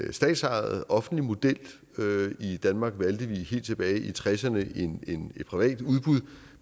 en statsejet offentlig model i danmark valgte vi helt tilbage i nitten tresserne et privat udbud